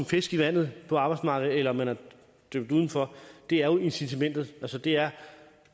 fisk i vandet på arbejdsmarkedet eller man er dømt uden for er jo incitamentet altså det er